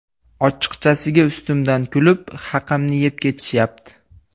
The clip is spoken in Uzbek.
Ochiqchasiga ustimdan kulib, haqimni yeb ketishyapti.